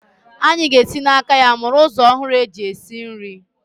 Anyị ga-esi n'aka ya mụrụ ụzọ ọhụrụ eji esi nri.